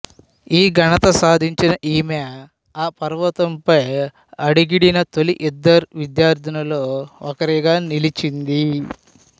ఈ ఘనత సాధించిన ఈమె ఆ పర్వతం పై అడుగిడిన తొలి ఇద్దరు విద్యార్థినులలో ఒకరిగా నిలిచింది